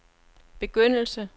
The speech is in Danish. begyndelse